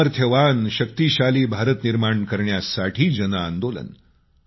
सामर्थ्यवान शक्तीशाली भारत निर्माण करण्यासाठी जनआंदोलन